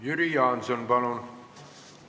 Jüri Jaanson, palun!